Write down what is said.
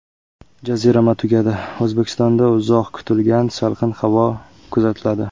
Jazirama tugadi: O‘zbekistonda uzoq kutilgan salqin havo kuzatiladi.